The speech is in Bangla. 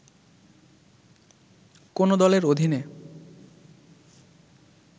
“কোন দলের অধীনে